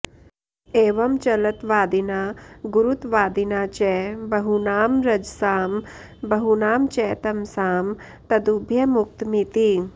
एवं चलत्वादिना गुरुत्वादिना च बहूनां रजसां बहूनां च तमसां तदुभयमुक्तमिति